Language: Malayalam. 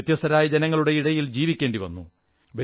വ്യത്യസ്തരായ ജനങ്ങളുടെ ഇടയിൽ ജീവിക്കേണ്ടി വരും